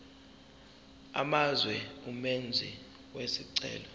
amazwe umenzi wesicelo